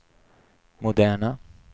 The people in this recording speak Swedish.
moderna